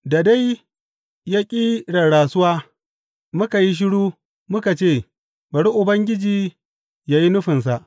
Da dai ya ƙi rarrasuwa, muka yi shiru, muka ce, Bari Ubangiji yă yi nufinsa.